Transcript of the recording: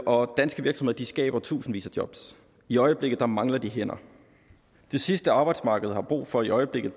og danske virksomheder skaber tusindvis af job i øjeblikket mangler de hænder det sidste arbejdsmarkedet har brug for i øjeblikket